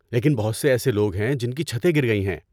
لیکن بہت سے ایسے لوگ ہیں جن کی چھتیں گر گئی ہیں۔